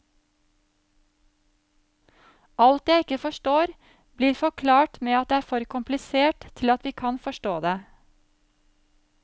Alt jeg ikke forstår, blir forklart med at det er for komplisert til at vi kan forstå det.